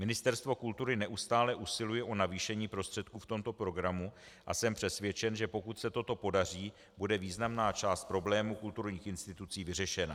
Ministerstvo kultury neustále usiluje o navýšení prostředků v tomto programu a jsem přesvědčen, že pokud se toto podaří, bude významná část problému kulturních institucí vyřešena.